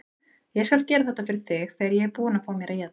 Ég skal gera þetta fyrir þig þegar ég er búinn að fá mér að éta.